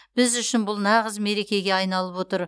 біз үшін бұл нағыз мерекеге айналып отыр